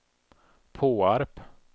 Påarp